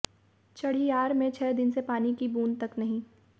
चढियार में छह दिन से पानी की बूंद तक नहीं